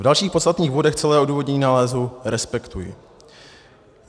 V dalších podstatných bodech celé odůvodnění nálezu respektuji.